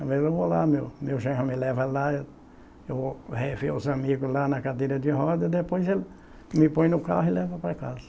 Mas eu vou lá, meu meu genro me leva lá, eu vou rever os amigos lá na cadeira de rodas e depois ele me põe no carro e leva para casa.